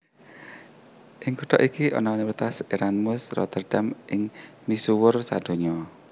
Ing kutha iki ana Universitas Erasmus Rotterdam sing misuwur sadonya